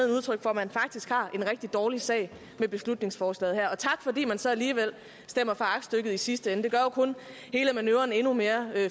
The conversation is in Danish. udtryk for at man faktisk har en rigtig dårlig sag med beslutningsforslaget her og tak fordi man så alligevel stemmer for aktstykket i sidste ende det gør jo kun hele manøvren endnu mere